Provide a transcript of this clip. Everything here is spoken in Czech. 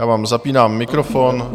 Já vám zapínám mikrofon.